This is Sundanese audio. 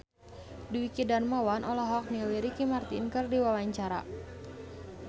Dwiki Darmawan olohok ningali Ricky Martin keur diwawancara